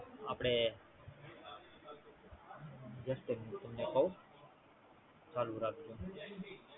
આપડે, Just a minute તમને કવ. ચાલુ રાખજો.